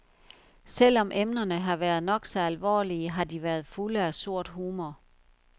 Selv om emnerne har været nok så alvorlige, har de været fulde af sort humor.